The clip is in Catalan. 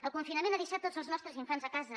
el confinament ha deixat tots els nostres infants a casa